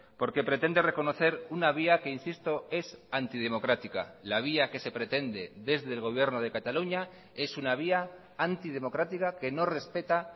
porque pretende reconocer una vía que insisto es antidemocrática la vía que se pretende desde el gobierno de cataluña es una vía antidemocrática que no respeta